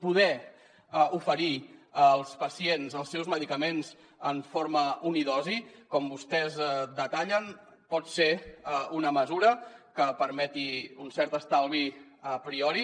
poder oferir als pacients els seus medicaments en forma unidosi com vostès detallen pot ser una mesura que permeti un cert estalvi a priori